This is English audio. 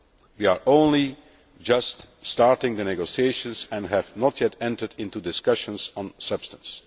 We are only just starting the negotiations and have not yet entered into discussions on substance.